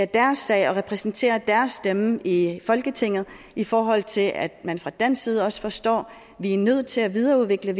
deres sag og repræsentere deres stemme i folketinget i forhold til at man fra dansk side også forstår at vi er nødt til at videreudvikle